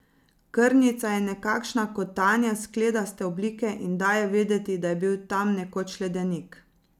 Krnica je nekakšna kotanja skledaste oblike in daje vedeti, da je bil tam nekoč ledenik.